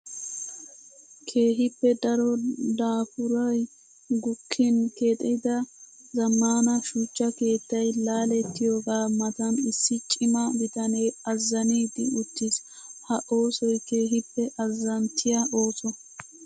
Keehippe daro daapurayi gukkin keexittida zammaana shuchcha keettayi laalettiyaagaa matan issi cima bitane azzanidi uttis. Ha oosoyi keehippe azzanttiyaa ooso.